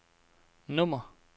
nummer